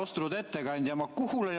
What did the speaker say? Austatud ettekandja!